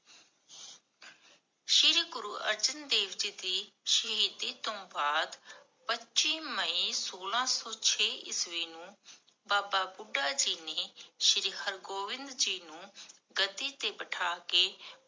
ਸ਼੍ਰੀ ਗੁਰੂ ਅਰਜਨ ਦੇਵ ਜੀ ਦੀ ਸ਼ਹੀਦੀ ਤੋਂ ਬਾਅਦ ਪਚੀ ਮਈ, ਸੋਲਾਂ ਸੋ ਛੇ ਈਸਵੀ ਨੂੰ, ਬਾਬਾ ਬੁਢਾ ਜੀ ਨੇ ਸ਼੍ਰੀ ਗੁਰੂ ਹਰ੍ਗੋਵਿੰਦ ਸਾਹਿਬ ਜੀ ਨੂੰ ਗੱਦੀ ਤੇ ਬਿਠਾ ਕੇ